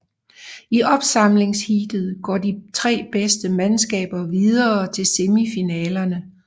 I opsamlingsheatet går de tre bedste mandskaber videre til semifinalerne